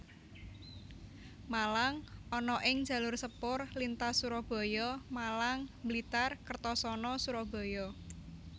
Malang ana ing jalur sepur lintas Surabaya Malang Blitar Kertosono Surabaya